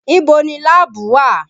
Ibo ni láàbù wà?